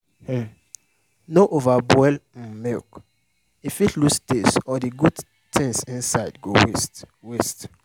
um no overboil um milk—e fit lose taste or the good things inside go waste. waste.